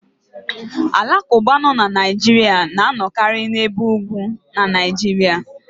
The Alakụba nọ na Naijiria na anọkari n'ebe ugwu na Naijiria.